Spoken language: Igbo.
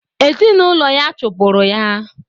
Ezinaụlọ ya chụpụrụ ya.